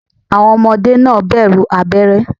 Àwọn Ọmọdé náà bẹ̀rù abéré